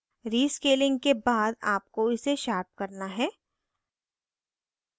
rescaling के बाद आपको इसे sharpen करना है